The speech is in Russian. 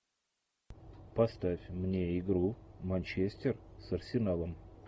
поставь мне игру манчестер с арсеналом